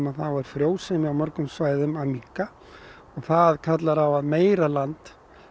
er frjósemi á mörgum svæðum að minnka og það kallar á að meira land